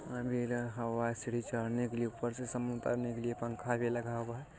Umbrella हवा सीढ़ी चढ़ने के लिए ऊपर से समन उतारने के लिए पंखा भी लगा हुआ है ।